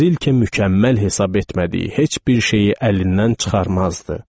Rilke mükəmməl hesab etmədiyi heç bir şeyi əlindən çıxarmazdı.